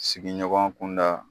Sigiɲɔgɔn kunda